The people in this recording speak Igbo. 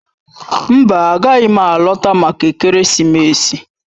Mba, agaghị m alọta maka ekeresimesi.